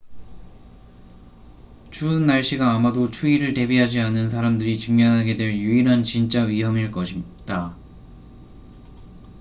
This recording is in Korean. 추운 날씨가 아마도 추위를 대비하지 않은 사람들이 직면하게 될 유일한 진짜 위험일 것이다